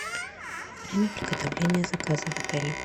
время приготовления заказа в отеле